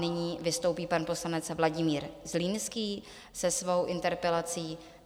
Nyní vystoupí pan poslanec Vladimír Zlínský se svou interpelací.